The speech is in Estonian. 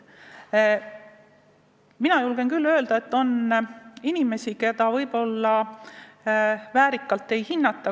Mina julgen küll öelda, et on inimesi, kelle panust selle väärselt ei hinnata.